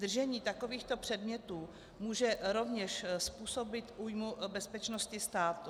Držení takovýchto předmětů může rovněž způsobit újmu bezpečnosti státu.